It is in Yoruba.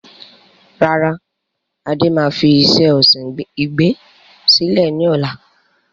Rárá, Adé máa fi iṣẹ́ ọsìn igbin sílẹ̀ ni ọ̀la.